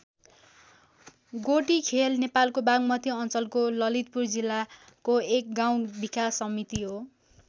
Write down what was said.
गोटीखेल नेपालको बागमती अञ्चलको ललितपुर जिल्लाको एक गाउँ विकास समिति हो।